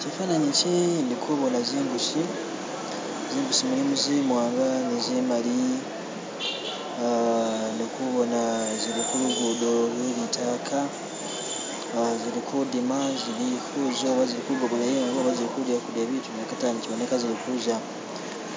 Chifanani chi indikubona zimbusi zimbusi mulimu zimwanga ni zimali indikubona zilikulugudo lwelitaka awo zilikudima zilikuza oba zilikugobolayo ingo oba zilikuza kudya bitu nekatano chiboneka zilikuza